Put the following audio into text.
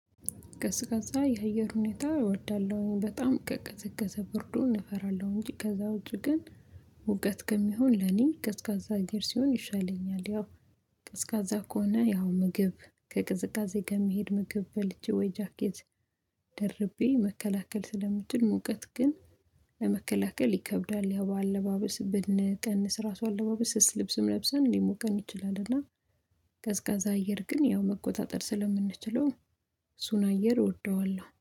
ቀዝቃዛ የአየር ሁኔታ እወዳለሁኝ በጣም ከቅዝቀዘ ብርዱን እፈራለሁ እንጂ ከዛ ውጪ ግን ሙቀት ከሚሆን ለኔ ቀዝቃዛ አየር ሲሆን ይሻለኛል። ያው ቀዝቃዛ ከሆነ ያው ምግብ ከቅዝቃዜ ከሚሄድ ምግብ በልቼ ወይ ጃኬት ደርቤ መከላከል ስለምትል። ሙቀት ግን ለመከላከል ይከብዳል ያው በአለባበስ ብንቀንስ ራሱ አለባበስ ስስ ልብስም ለብሰን ሊሞቀን ይችላል። እና ቀዝቃዛ አየር ግን ያው መቆጣጠር ስለምንችለው እሱን አየር እወደዋለሁ